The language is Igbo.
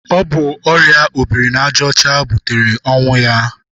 Ọ bụ ọrịa obiri n'aja ọcha butere ọnwụ ya.